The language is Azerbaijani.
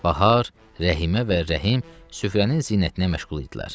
Bahar, Rəhimə və Rəhim süfrənin zinətinə məşğul idilər.